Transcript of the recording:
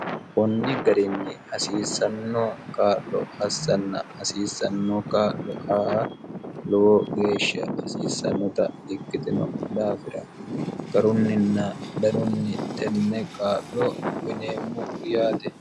kunni garinni hasiissanno kaa'lo assanna hasiissanno kaa'lo aa lowo geeshsha hasiissannota ikkitino daafira garunninna danunni tenne qaa'lo uyineemmo yaate